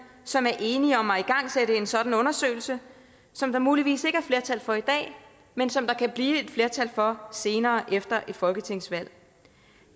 som er enige om at igangsætte en sådan undersøgelse som der muligvis ikke er flertal for i dag men som der kan blive et flertal for senere efter et folketingsvalg